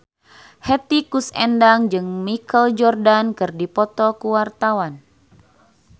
Hetty Koes Endang jeung Michael Jordan keur dipoto ku wartawan